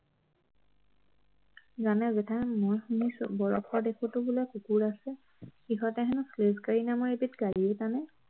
জানে জেঠাই মই শুনিছো বৰফৰ দেশতো বোলে কুকুৰ আছে সিহঁতে হেনো sledge গাড়ী নামৰ এবিধ গাড়ীও টানে